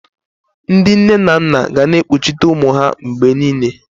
Ndị nne na nna ga na-ekpuchite ụmụ ha mgbe niile.